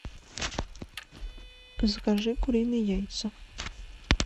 закажи куриные яйца